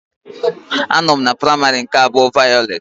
Anọ m na Praimari nke abuo vayolet.